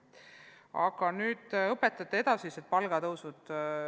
Aga nüüd õpetajate palga edasisest tõusust.